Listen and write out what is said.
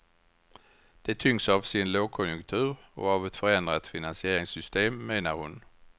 De tyngs av sin lågkonjunktur och av ett förändrat finansieringssystem, menar hon.